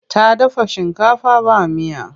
Ta dafa shinkafa ba miya.